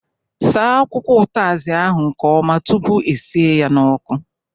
Saa akwụkwọ utazi ahụ nke ọma tụpụ e sie ya n'ọkụ!